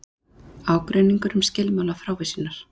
Ágreiningur um skilmála frávísunar